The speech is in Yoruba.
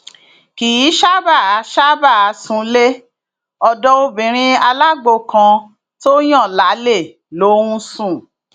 kì í ṣáàbàá ṣáàbàá súnlé ọdọ obìnrin alágbó kan tó ń yan lálè ló ń sùn